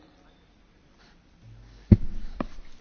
Frau Präsidentin, meine sehr geehrten Damen und Herren!